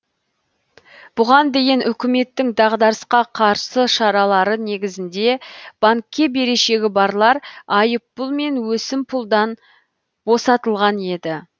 бұған дейін үкіметтің дағдарысқа қарсы шаралары негізінде банкке берешегі барлар айыппұл мен өсімпұлдан босатылған еді